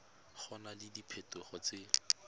go na le diphetogo tse